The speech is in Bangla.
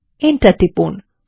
এন্টার টিপুন